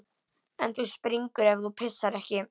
En þú springur ef þú pissar ekki.